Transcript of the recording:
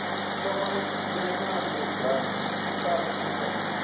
thoma nyanano dza ifhasi sa